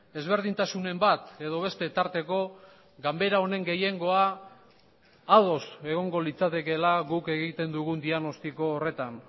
ezberdintasunen bat edo beste tarteko ganbera honen gehiengoa ados egongo litzatekeela guk egiten dugun diagnostiko horretan